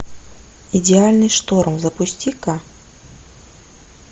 идеальный шторм запусти ка